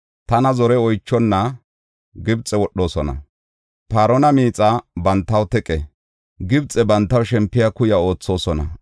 Tana zore oychonna Gibxe wodhoosona. Paarona miixa bantaw teqe, Gibxe bantaw shempiya kuya oothosona.